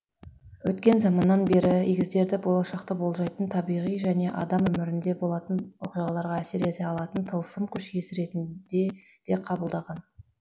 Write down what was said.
өткен заманнан бері егіздерді болашақты болжайтын табиғи және адам өмірінде болатын оқиғаларға әсер ете алатын тылсым күш иесі ретінде де қабылдаған